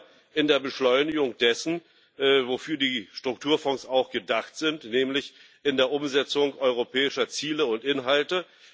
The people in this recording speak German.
Einmal in der Beschleunigung dessen, wofür die Strukturfonds auch gedacht sind, nämlich in der Umsetzung europäischer Ziele und Inhalte.